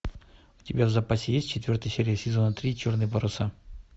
у тебя в запасе есть четвертая серия сезона три черные паруса